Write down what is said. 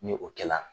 Ni o kɛla